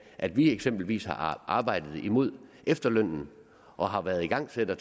at vi eksempelvis har arbejdet imod efterlønnen og har været igangsættere